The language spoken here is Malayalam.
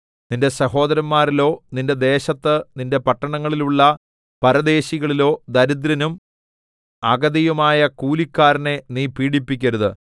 നിന്റെ സഹോദരന്മാരിലോ നിന്റെ ദേശത്ത് നിന്റെ പട്ടണങ്ങളിലുള്ള പരദേശികളിലോ ദരിദ്രനും അഗതിയുമായ കൂലിക്കാരനെ നീ പീഡിപ്പിക്കരുത്